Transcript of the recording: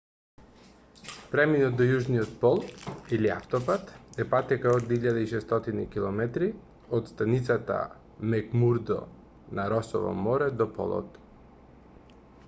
преминот до јужниот пол или автопат е патека од 1600 km од станицата мекмурдо на росово море до полот